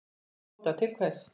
Tóta: Til hvers?